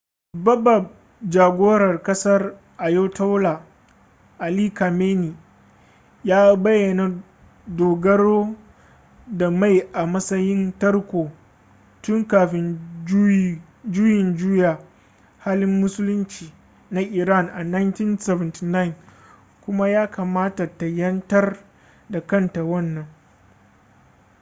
babbab jagoran kasar ayatollah ali khamenei ya bayyana dogaro da mai a matsayin tarko tun kafin juyin juya halin musulunci na iran a 1979 kuma ya kamata ta 'yantar da kanta wannan